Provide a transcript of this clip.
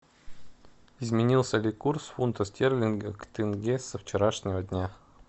изменился ли курс фунта стерлинга к тенге со вчерашнего дня